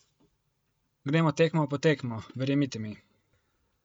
Gremo tekmo po tekmo, verjemite mi.